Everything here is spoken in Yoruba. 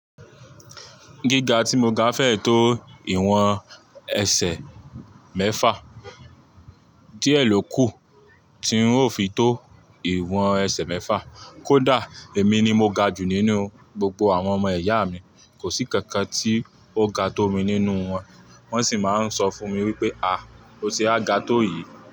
Gíga tí mo ga fẹ́ tó ìwọ̀n ẹsẹ̀ mẹ́fà, díẹ̀ ló kù tí n ó fi tó ìwọ̀n ẹsẹ̀ mẹ́fà. Kódà èmi ni mo ga jù nínú gbogbo àwọn ọmọ ìyá mi, kò sí kankan tí ó ga tó mi nínú wọn, wọ́n sì máa ń sọ fún mi wípé "à o ṣe wá ga tó yìí?"